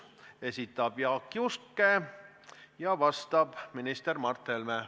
Esitab Jaak Juske ja vastab minister Mart Helme.